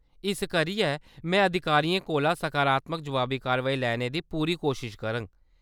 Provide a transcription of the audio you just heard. इस करियै, मैं अधिकारियें कोला सकारात्मक जवाबी-कारवाई लैने दी पूरी कोशश करङ।